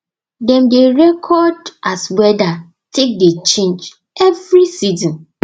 dem dey record as weather take dey change every season